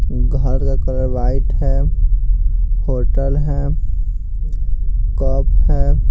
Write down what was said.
घर का colour white है होटल है कप है।